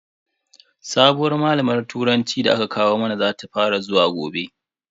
Sabuwar malamar turanci da aka kawo mana zata fara zuwa gobe.